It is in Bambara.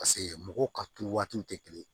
Paseke mɔgɔw ka turu waatiw tɛ kelen ye